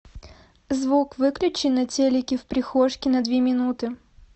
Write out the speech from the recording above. звук выключи на телике в прихожке на две минуты